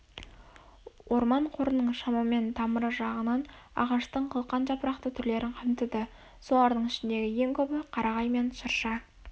орман қорының шамамен тамыры жағынан ағаштың қылқан жапырақты түрлерін қамтиды солардың ішіндегі ең көбі қарағай мен шырша